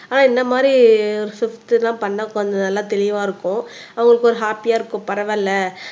ஆனா இந்த மாதிரி ஒரு ஷிப்ட் எல்லாம் பண்ணா கொஞ்சம் நல்லா தெளிவா இருக்கும் அவங்களுக்கு ஒரு ஹாப்பியா இருக்கும் பரவாயில்ல